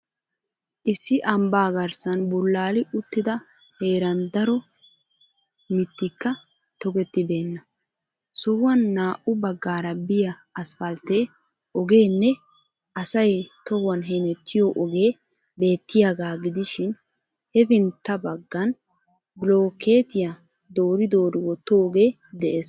Issi ambbaa garssaan bullaali uttida heeran daro mittikka tokketibeenna sohuwan naa'u baggaara biya asppaltte ogeeenne asay tohuwan hemettiyo ogee beettiyaaga gidishiin hefintta baggan bilooketiyaa doori doori wottoogee dees.